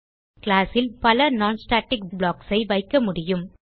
class ல் பல non static blocks ஐ வைக்க முடியும்